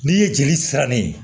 N'i ye jeli siran ne ye